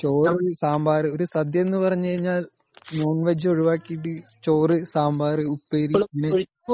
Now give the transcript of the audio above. ചോറ്, സാമ്പാറു .സദ്യ എന്ന് പറഞ്ഞു കഴിഞ്ഞാൽ നോൺ -വെഗ്‌ ഒഴുവാക്കിയിട്ടു ചോറ് സാമ്പാറു ഉപ്പേരി